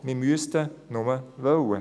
Wir müssten nur wollen.